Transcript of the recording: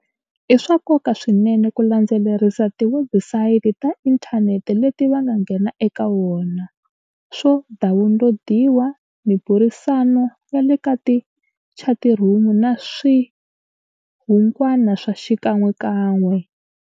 I swa nkoka swinene ku landzelerisa tiwebusayiti ta inthanete leti va nga nghena eka wona, swo dawunilodiwa, miburisano ya le ka chatirhumu na swihu ngwana swa xikan'wekan'we.